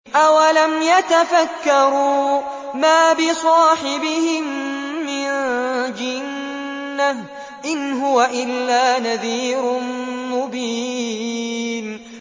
أَوَلَمْ يَتَفَكَّرُوا ۗ مَا بِصَاحِبِهِم مِّن جِنَّةٍ ۚ إِنْ هُوَ إِلَّا نَذِيرٌ مُّبِينٌ